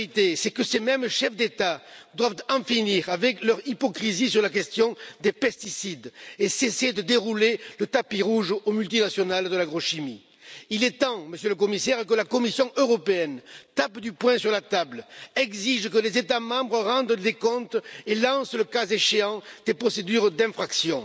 C'est que ces mêmes chefs d'État doivent en finir avec leur hypocrisie sur la question des pesticides et cesser de dérouler le tapis rouge aux multinationales de l'agrochimie. Il est temps, Monsieur le Commissaire, que la Commission européenne tape du poing sur la table, exige que les États membres rendent des comptes et lancent, le cas échéant, des procédures d'infraction.